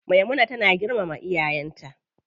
Maimuna tana girmama iyayen ta.